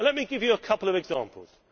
And let me give you a couple of examples.